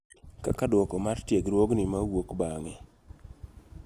Kaka duoko mar tiegruogni mauok bang'e .